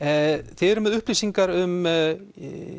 þið eruð með upplýsingar um